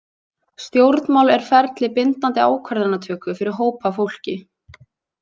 Stjórnmál er ferli bindandi ákvarðanatöku fyrir hóp af fólki.